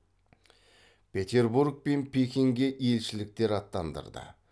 петербург пен пекинге елшіліктер аттандырды